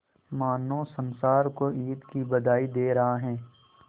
मानो संसार को ईद की बधाई दे रहा है